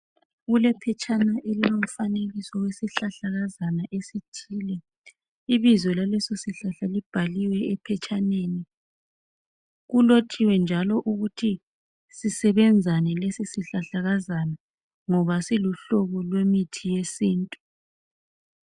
Kulephetshana elilomfanekiso wesihlahlakazana esithile. Ibizo laleso sihlahla libhaliwe ephatshaneni. Kulotshiwe njalo ukuthi sisebenzani lesi sihlahlakazana siluhlobo lwemithi yesintu.